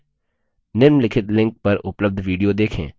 निम्नलिखित link पर उपलब्ध video देखें